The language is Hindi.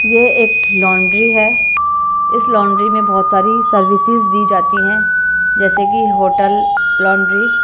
यह एक लौंड्री है इस लौंड्री में बहुत सारी सर्विसेस दी जाती हैं जैसे कि होटल लौंड्री